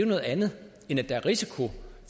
noget andet end at der er risiko